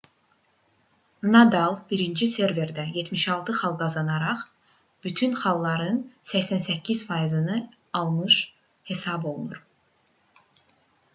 nadal birinci serverdə 76 xal qazanaraq bütün xalların 88%-ni almış hesab olunur